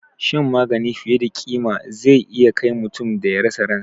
Shan magani fiye da ƙima zai iya kai mutum da ya rasa ransa